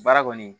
Baara kɔni